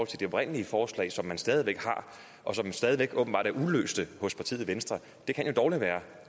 til det oprindelige forslag som man stadig væk har og som stadig væk åbenbart er uløste hos partiet venstre kan dårlig være